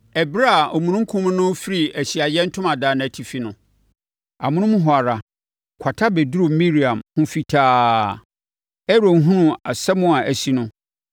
Ɛberɛ a omununkum no refiri Ahyiaeɛ Ntomadan no atifi no, amonom hɔ ara, kwata bɛduruu Miriam ho fitaa. Aaron hunuu asɛm a asi no,